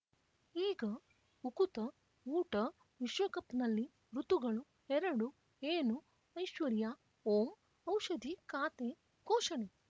ಈಗ ಉಕುತ ಊಟ ವಿಶ್ವಕಪ್‌ನಲ್ಲಿ ಋತುಗಳು ಎರಡು ಏನು ಐಶ್ವರ್ಯಾ ಓಂ ಔಷಧಿ ಖಾತೆ ಘೋಷಣೆ